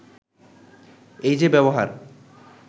“এই যে ব্যবহার